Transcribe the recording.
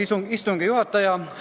Austatud istungi juhataja!